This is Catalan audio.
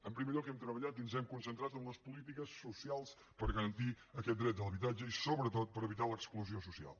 en primer lloc hem treballat i ens hem concentrat en les polítiques socials per garantir aquest dret a l’habitatge i sobretot per evitar l’exclusió social